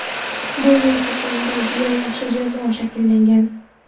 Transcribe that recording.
Bu yil Qo‘qonda juda yaxshi jamoa shakllangan.